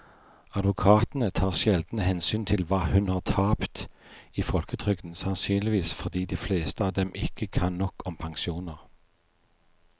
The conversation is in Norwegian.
Advokatene tar sjelden hensyn til hva hun har tapt i folketrygden, sannsynligvis fordi de fleste av dem ikke kan nok om pensjoner.